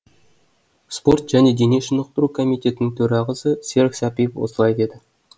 спорт және дене шынықтыру комитетінің төрғасы серік сәпиев осылай деді